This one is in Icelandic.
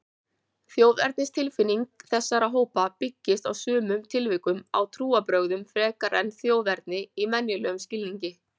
Þjóðernistilfinning þessara hópa byggist í sumum tilvikum á trúarbrögðum frekar en þjóðerni í venjulegum skilningi.